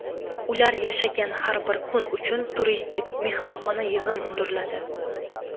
ular yashagan har bir kun uchun turistik (mehmonxona) yig‘im undiriladi.